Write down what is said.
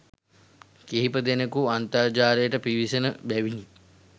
කිහිපදෙනෙකු අන්තර්ජාලයට පිවිසෙන බැවිනි